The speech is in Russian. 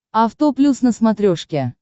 авто плюс на смотрешке